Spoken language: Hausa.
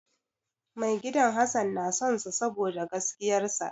Maigidan Hassan na sonsa saboda gaskiyar sa.